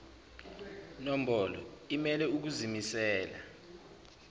nombolo imele ukuzimisela